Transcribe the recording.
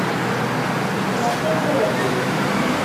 тимофей георгиевич